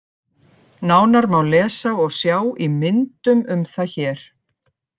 Nánar má lesa og sjá í myndum um það hér.